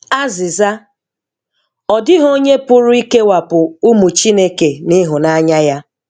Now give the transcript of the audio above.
Azịza: Ọ dịghị onye pụrụ ikewapụ ụmụ Chineke n'ịhụnanya Ya.